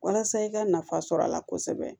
Walasa i ka nafa sɔr'a la kosɛbɛ